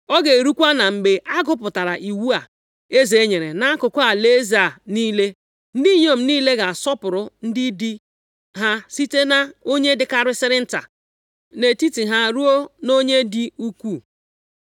Ọ ga-erukwa na mgbe a gụpụtara iwu a eze nyere nʼakụkụ alaeze a niile, ndị inyom niile ga-asọpụrụ ndị di ha site nʼonye dịkarịsịrị nta nʼetiti ha ruo nʼonye dị ukwuu.”